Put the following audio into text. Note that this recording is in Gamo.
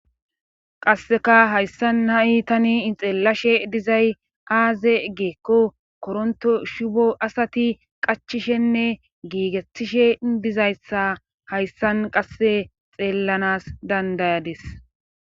qasseka hayssan na7i tani ixeellashe dizay aaze geekko koronto shubo asati qachishenne giigetishe dizayssa hayssan qasse xeellanas dandayadis